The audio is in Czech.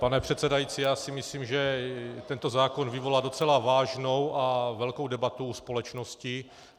Pane předsedající, já si myslím, že tento zákon vyvolá docela vážnou a velkou debatu u společnosti.